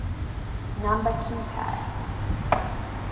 number key pads